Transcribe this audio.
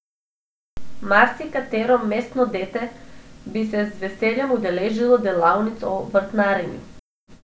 Marsikatero mestno dete bi se z veseljem udeležilo delavnic o vrtnarjenju.